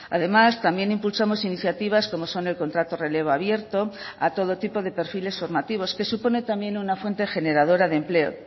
además también impulsamos iniciativas como son el contrato relevo abierto a todo tipo de perfiles formativos que supone también una fuente generadora de empleo